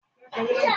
Fún ọmọ rẹ l'óunjẹ